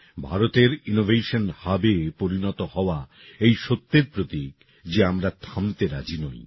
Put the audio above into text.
ভারতের ইনোভেশন Hubএ পরিণত হওয়া এই সত্যের প্রতীক যে আমরা থামতে রাজি নই